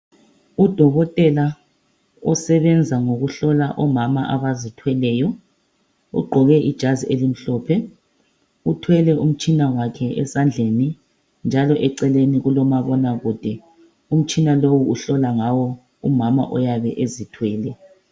Udokotela usebenza ngokuhlola omama abazithweleyo. Ugqoke ijazi emhlophe, uthwele umtshina ezandleni. Njalo eceleni kulomabonakude, umtshina lo uhlola ngawo omama abaye ezithwele.